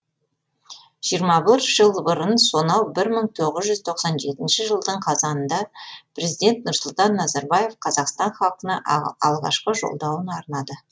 жиырма бір жыл бұрын сонау бір мың тоғыз жүз тоқсан жетінші жылдың қазанында президент нұрсұлтан назарбаев қазақстан халқына алғашқы жолдауын арнады